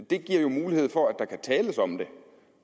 det giver jo mulighed for at der tales om det